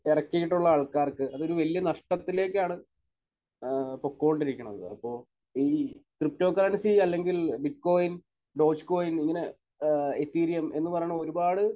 ഇറക്കിയിട്ടുള്ള ആൾക്കാർക്ക് അതൊരു വലിയ നഷ്ടത്തിലേക്കാണ് ഏഹ് പൊക്കോണ്ടിരിക്കുന്നത്. അപ്പോൾ ഈ ക്രിപ്റ്റോ കറൻസി അല്ലെങ്കിൽ ബിറ്റ്കോയിൻ ഡോജ്കോയിൻ ഇങ്ങനെ ഏഹ് എതീറിയം എന്ന് പറയുന്ന ഒരുപാട്